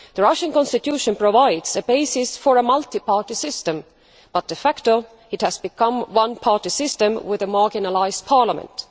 The Russian constitution provides a basis for a multi party system, but de facto it has become a one party system with a marginalised parliament.